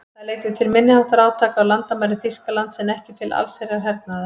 Það leiddi til minniháttar átaka á landamærum Þýskalands en ekki til allsherjar hernaðar.